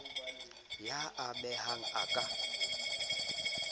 y a mehang a ka